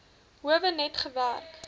howe net gewerk